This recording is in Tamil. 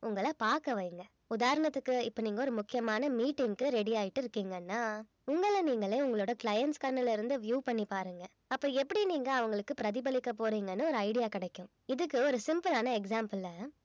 உங்கள பார்க்க வைங்க உதாரணத்துக்கு இப்ப நீங்க ஒரு முக்கியமான meeting க்கு ready ஆயிட்டு இருக்கீங்கன்னா உங்கள நீங்களே உங்களோட clients கண்ணுல இருந்து view பண்ணி பாருங்க அப்ப எப்படி நீங்க அவங்களுக்கு பிரதிபலிக்க போறீங்கன்னு ஒரு idea கிடைக்கும் இதுக்கு ஒரு simple ஆன example அ